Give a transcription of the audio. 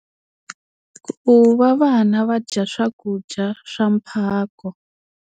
Ku va vana va dya swakudya swa mphako.